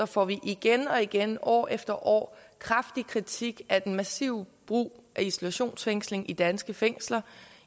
får vi igen og igen år efter år kraftig kritik af den massive brug af isolationsfængsling i danske fængsler